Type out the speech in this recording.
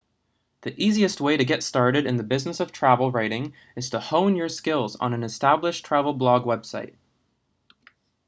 the easiest way to get started in the business of travel writing is to hone your skills on an established travel blog website